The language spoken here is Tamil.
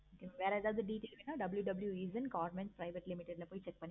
நீங்க வேற ஏதாவது WWW eesha government private limited ல போய் check